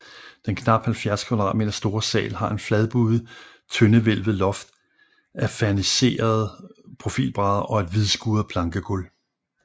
Den knap 70 kvadratmeter store sal har et fladbuet tøndehvælvet loft af ferniserede profilbrædder og et hvidskuret plankegulv